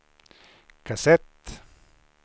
kassett